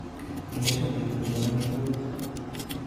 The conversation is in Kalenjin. Inde chumbik tuten omitwokik